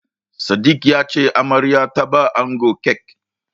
Sadik ya ce Amaryar ta bawa angon kek.